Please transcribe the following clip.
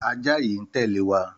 Àjá yi n tèlé wa